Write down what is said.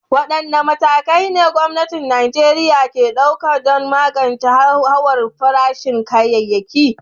Wadanne matakai ne gwamnatin Najeriya ke ɗauka don magance hauhawar farashin kayayyaki?